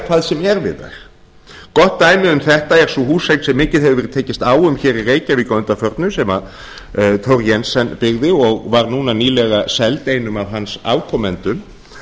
hvað sem er við þær gott dæmi um þetta er sú húseign sem mikið hefur verið tekist á um hér í reykjavík að undanförnu sem thor jensen byggði og var núna nýlega seld einum af hans afkomendum